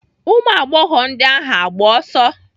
Ụmụagbọghọ ndị ahụ agba ọsọ?